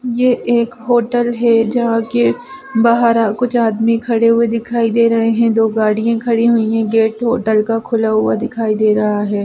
ये एक होटल हैं जहाँ के बाहर कुछ आदमी खड़े हुए दिखाई दे रहे हैं दो गाड़िया खड़ी हुई हैं गेट होटल का खुला हुआ दिखाई दे रहा हैं।